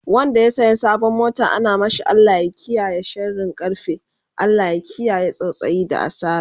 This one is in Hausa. Wanda ya saya sabon mota ana mashi Allah ya kiyaye sharin karfe, Allah ya kiyaye tsautsayi da asara